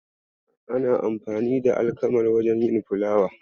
Ana amfani da alkamar wajen yin fulawa.